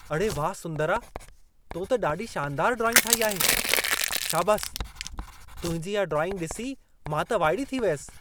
अड़े वाह सुंदरा! तो त ॾाढी शानदारु ड्राइंग ठाही आहे। शाबासि, तुंहिंजी इहा ड्राइंग ॾिसी मां त वाइड़ी थी वियसि।